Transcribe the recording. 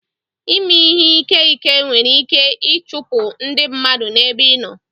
Ịmè ìhé ìké ìké nwèrè ìké ichụpụ ndị mmadụ n'ébé ị nọ